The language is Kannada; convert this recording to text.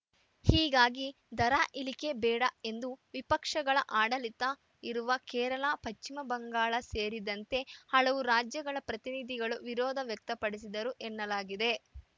ಹೀಗಾಗಿ ದರ ಇಳಿಕೆ ಬೇಡ ಎಂದು ವಿಪಕ್ಷಗಳ ಆಡಳಿತ ಇರುವ ಕೇರಳ ಪಚಿಮ ಬಂಗಾಳ ಸೇರಿದಂತೆ ಹಲವು ರಾಜ್ಯಗಳ ಪ್ರತಿನಿಧಿಗಳು ವಿರೋಧ ವ್ಯಕ್ತಪಡಿಸಿದರು ಎನ್ನಲಾಗಿದೆ